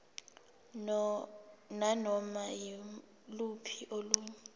nanoma yiluphi olunye